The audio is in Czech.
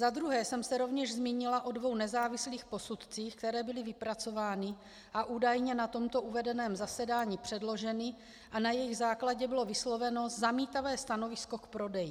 Za druhé jsem se rovněž zmínila o dvou nezávislých posudcích, které byly vypracovány a údajně na tomto uvedeném zasedání předloženy, a na jejich základě bylo vysloveno zamítavé stanovisko k prodeji.